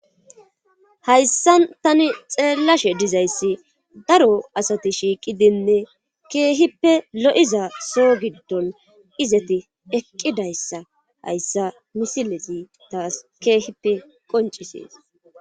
Hayssan tani xeellashe dizayssi daro asati shiiqidinne keehippe lo'iza soo giddon izati eqqidayssa hayssa misilesi taas keehippe qoncisees